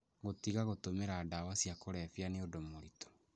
Gũtiga gũtũmĩra ndawa cia kũrebia nĩ ũndũ mũritũ,